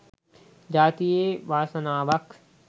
ජාතියේ වාසනාවක්.